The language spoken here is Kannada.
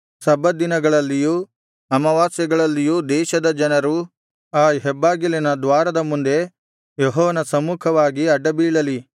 ಸಬ್ಬತ್ ದಿನಗಳಲ್ಲಿಯೂ ಅಮಾವಾಸ್ಯೆಗಳಲ್ಲಿಯೂ ದೇಶದ ಜನರು ಆ ಹೆಬ್ಬಾಗಿಲಿನ ದ್ವಾರದ ಮುಂದೆ ಯೆಹೋವನ ಸಮ್ಮುಖವಾಗಿ ಅಡ್ಡಬೀಳಲಿ